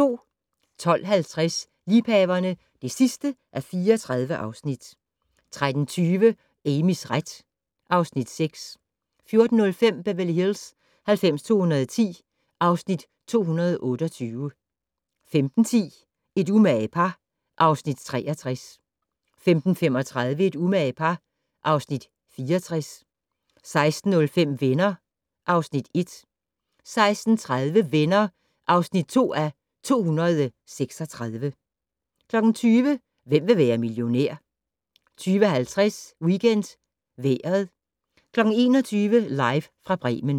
12:50: Liebhaverne (34:34) 13:20: Amys ret (Afs. 6) 14:05: Beverly Hills 90210 (Afs. 228) 15:10: Et umage par (Afs. 63) 15:35: Et umage par (Afs. 64) 16:05: Venner (Afs. 1) 16:30: Venner (2:236) 20:00: Hvem vil være millionær? 20:50: WeekendVejret 21:00: Live fra Bremen